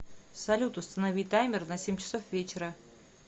салют установи таймер на семь часов вечера